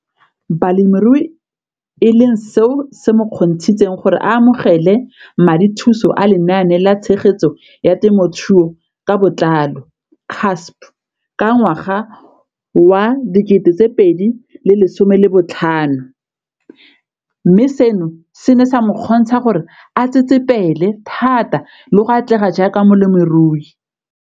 Balemirui e leng seo se mo kgontshitseng gore a amogele madithuso a Lenaane la Tshegetso ya Te mothuo ka Botlalo, CASP] ka ngwaga wa 2015, mme seno se ne sa mo kgontsha gore a tsetsepele thata le go atlega jaaka molemirui.